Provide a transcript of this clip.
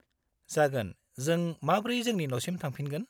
जागोन, जों माब्रै जोंनि न'सिम थांफिनगोन?